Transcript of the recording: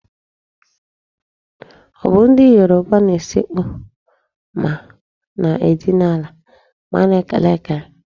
Ọ bụ ndị Yoruba na-esekpu ma na-edina ala ma a na-ekele ekele?